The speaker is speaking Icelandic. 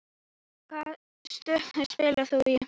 Hvaða stöðu spilaðir þú?